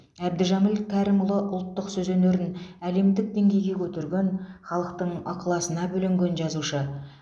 әбдіжәміл кәрімұлы ұлттық сөз өнерін әлемдік деңгейге көтерген халықтың ықыласына бөленген жазушы